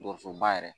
Dɔgɔsoba yɛrɛ